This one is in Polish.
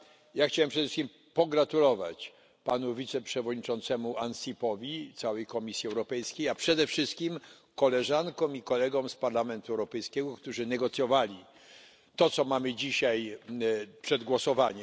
Ja chciałem przede wszystkim pogratulować panu wiceprzewodniczącemu Ansipowi, całej Komisji Europejskiej, a nade wszystko koleżankom i kolegom z Parlamentu Europejskiego, którzy negocjowali to, nad czym mamy dzisiaj głosować.